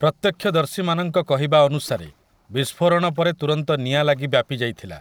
ପ୍ରତ୍ୟକ୍ଷଦର୍ଶୀମାନଙ୍କ କହିବା ଅନୁସାରେ, ବିସ୍ଫୋରଣ ପରେ ତୁରନ୍ତ ନିଆଁ ଲାଗି ବ୍ୟାପିଯାଇଥିଲା ।